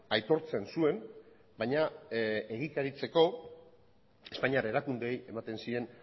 aitortzen zuen baina egikaritzeko espainiar erakundeei ematen zien